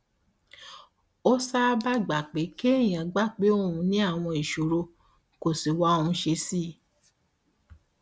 ó sábà gba pé kéèyàn gbà pé òun ní àwọn ìṣòro kó sì wá ohun ṣe sí i